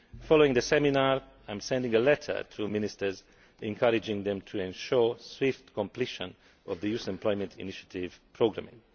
Following the seminar, I am sending a letter to ministers, encouraging them to ensure swift completion of the Youth Employment Initiative programming.